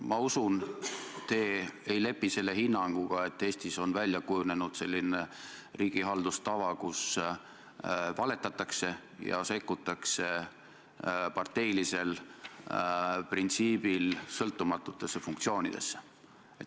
Ma usun, et te ei lepi hinnanguga, et Eestis on välja kujunenud selline riigihaldustava, mis lubaks valetada ja parteilisel printsiibil sõltumatutesse funktsioonidesse sekkuda.